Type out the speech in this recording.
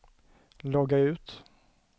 logga ut